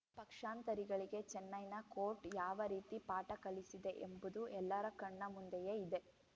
ಪಕ್ಷಾಂತರಿಗಳಿಗೆ ಚೆನ್ನೈನ ಕೋರ್ಟ್‌ ಯಾವ ರೀತಿ ಪಾಠ ಕಲಿಸಿದೆ ಎಂಬುದು ಎಲ್ಲರ ಕಣ್ಣ ಮುಂದೆಯೇ ಇದೆ